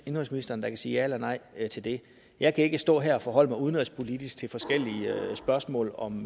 indenrigsministeren der kan sige ja eller nej til det jeg kan ikke stå her og forholde mig udenrigspolitisk til forskellige spørgsmål om